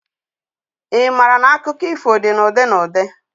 I maara na akụkọ ifo dị na ụdị na ụdị?